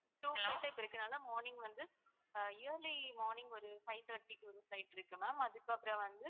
இப்போ இருக்கதால morning வந்து அஹ் early morning ஒரு five-thirty க்கு ஒரு flight இருக்கு ma'am அதுக்கு அப்பறம் வந்து